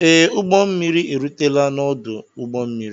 Ee, m ụgbọ mmiri erutela n'ọdụ ụgbọ mmiri